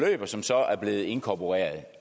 og som så er blevet inkorporeret